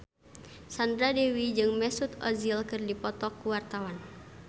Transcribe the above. Sandra Dewi jeung Mesut Ozil keur dipoto ku wartawan